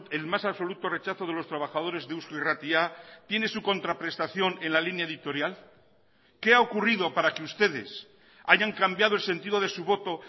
el más absoluto rechazo de los trabajadores de eusko irratia tiene su contraprestación en la línea editorial qué ha ocurrido para que ustedes hayan cambiado el sentido de su voto